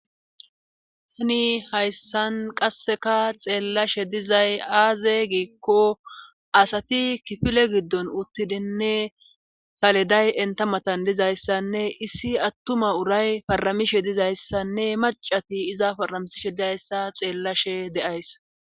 Hani hayssan qasseka xeellashe dizay aaze giikko asati kifile giddon uttidinne saliday entamatan dizayssanne issi attuma uray faramishe dizayssanne macati iza faramisishe dizayssa xeellashe deays.